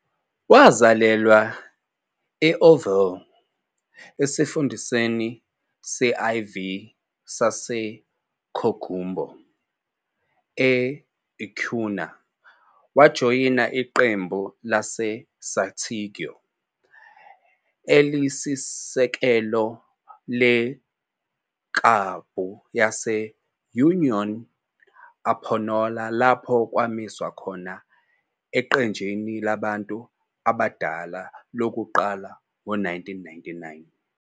Wazalelwa e- Ovalle, esifundeni se-IV saseCoquimbo, e-Acuña wajoyina iqembu laseSantiago- elisisekelo leklabhu yase- Unión Española lapho kwamiswa khona eqenjini labantu abadala lokuqala ngo-1999.